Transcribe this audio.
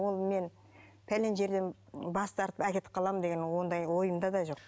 ол мен пәлен жерден бас тартып әкетіп қаламын деген ондай ойымда да жоқ